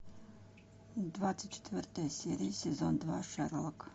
двадцать четвертая серия сезон два шерлок